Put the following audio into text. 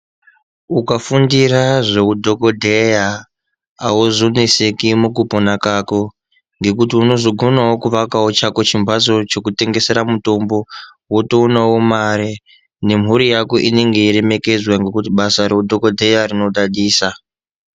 Ukafundira zveudhokodheya auzoneseki mukupona kwako ngekuti unozogonawo kuaka chako chimhatso chekutengesera mutombo wotoonawo mare nemhuri yako inenge yeiremekedzwa ngekuti basa reudhokodheya rinodadisa.